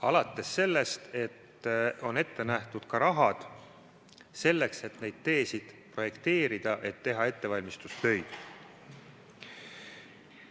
Alates sellest, et on ette nähtud ka raha selleks, et neid teid projekteerida, et teha ettevalmistustöid.